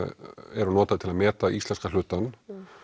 eru notaðar til að meta íslenska hlutann